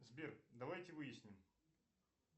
сбер давайте выясним